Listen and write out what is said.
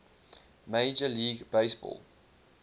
major league baseball